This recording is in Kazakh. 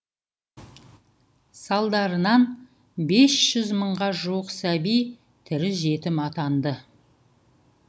салдарынан бес жүз мыңға жуық сәби тірі жетім атанды